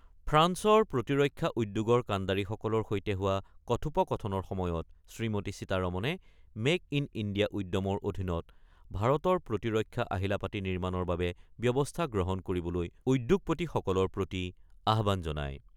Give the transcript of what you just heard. ফ্ৰান্সৰ প্ৰতিৰক্ষা উদ্যোগৰ কাণ্ডাৰীসকলৰ সৈতে হোৱা কথোপকথনৰ সময়ত শ্ৰীমতী সীতাৰমণে মেক-ইন-ইণ্ডিয়া উদ্যমৰ অধীনত ভাৰতৰ প্ৰতিৰক্ষা আহিলাপাতি নিৰ্মাণৰ বাবে ব্যৱস্থা গ্ৰহণ কৰিবলৈ উদ্যোগপতি সকলৰ প্ৰতি আহ্বান জনায়।